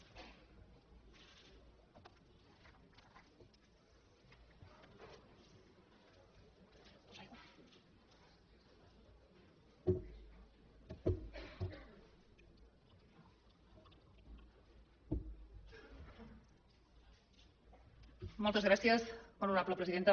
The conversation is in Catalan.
moltes gràcies molt honorable presidenta